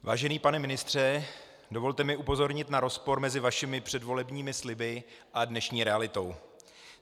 Vážený pane ministře, dovolte mi upozornit na rozpor mezi vašimi předvolebními sliby a dnešní realitou.